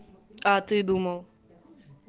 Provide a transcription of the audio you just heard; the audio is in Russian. а ты думал